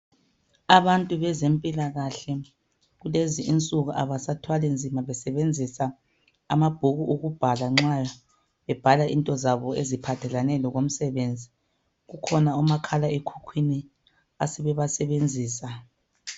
Abantu bezempilakahle kulezi insuku abasathwali nzima besebenzisa amabhuku okubhala nxa bebhala into zabo eziphathelane lokomsebenzi. Kukhona omakhala ekhukhwini asebebasebenzisa.